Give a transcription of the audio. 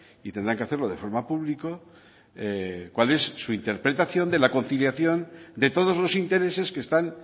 y tendrán que hacerlo de forma público cuál es su interpretación de la conciliación de todos los intereses que están